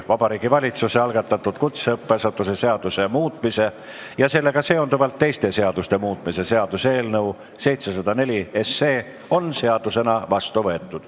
Vabariigi Valitsuse algatatud kutseõppeasutuse seaduse muutmise ja sellega seonduvalt teiste seaduste muutmise seaduse eelnõu 704 on seadusena vastu võetud.